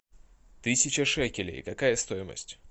тысяча шекелей какая стоимость